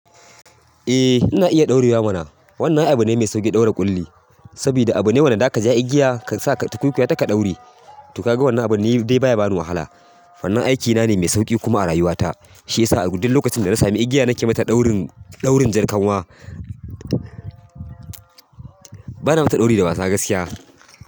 Eh ina iya ɗaurewa mana. Wannan abu ne mai sauƙin ɗaure ƙulli, sabida abu ne wanna daka ja igiya ka sa ka tukuikuya ta ka ɗaure. To ka ga wannan abun ni dai baya bani wahala. Wannan aikina ne me sauƙi kuma a rayuwata shi ya sa duk lokacin da na sami igiya na ke mata ɗaurin, ɗaurin jarkanwa. Bana mata dauri da wasa gaskiya.